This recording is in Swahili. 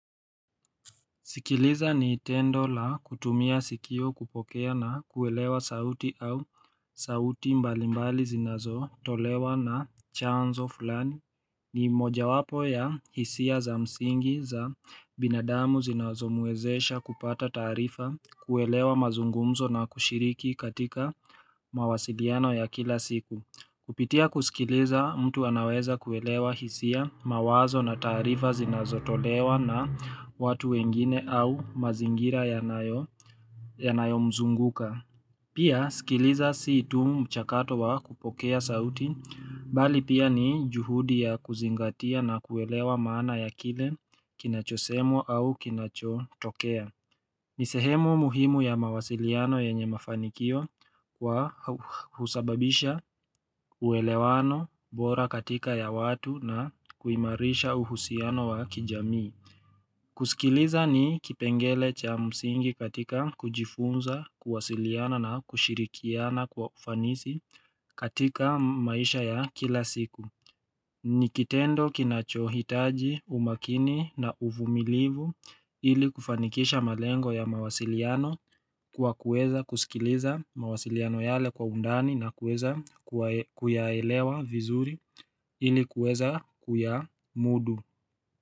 Sikiliza ni tendo la kutumia sikio kupokea na kuelewa sauti au sauti mbalimbali zinazo tolewa na chanzo fulani. Ni moja wapo ya hisia za msingi za binadamu zinazomwezesha kupata taarifa kuwelewa mazungumzo na kushiriki katika mawasiliano ya kila siku. Kupitia kusikiliza mtu anaweza kuelewa hisia mawazo na taarifa zinazotolewa na watu wengine au mazingira yanayo mzunguka. Pia, sikiliza si tu mchakato wa kupokea sauti, bali pia ni juhudi ya kuzingatia na kuelewa maana ya kile kinachosemwa au kinachotokea. Nisehemu muhimu ya mawasiliano yenye mafanikio kwa husababisha uelewano bora katika ya watu na kuimarisha uhusiano wa kijamii. Kusikiliza ni kipengele cha musingi katika kujifunza, kuwasiliana na kushirikiana kwa ufanisi katika maisha ya kila siku. Nikitendo kinachohitaji umakini na uvumilivu ili kufanikisha malengo ya mawasiliano kwa kueza kusikiliza mawasiliano yale kwa undani na kueza kuyaelewa vizuri ili kueza kuya mudu.